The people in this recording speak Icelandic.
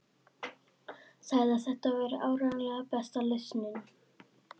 Sagði að þetta væri áreiðanlega besta lausnin.